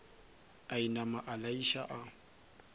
a inama a laiša a